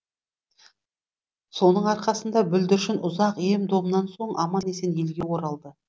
соның арқасында бүлдіршін ұзақ ем домнан соң аман есен елге оралды